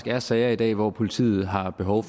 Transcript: er sager i dag hvor politiet har behov